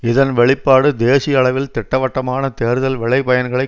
இதன் வெளிப்பாடு தேசிய அளவில் திட்டவட்டமான தேர்தல் விளைபயன்களைக்